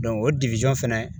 o fɛnɛ